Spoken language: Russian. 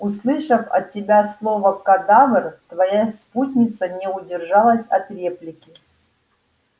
услышав от тебя слово кадавр твоя спутница не удержалась от реплики